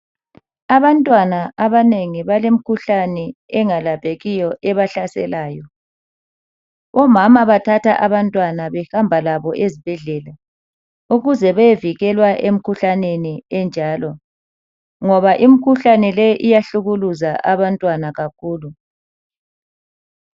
Abantwana abanengi balemkhuhlane engalaphekiyo ebahlaselayo. Omama bathatha abantwana behamba labo ezibhedlela, ukuze bevikela emkhuhlaneni enjalo, ngoba imkhuhlanele iyahlukuluza kakhulu.